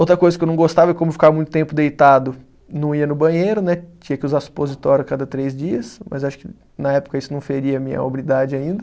Outra coisa que eu não gostava é como eu ficava muito tempo deitado, não ia no banheiro, né, tinha que usar supositório a cada três dias, mas acho que na época isso não feria a minha hombridade ainda.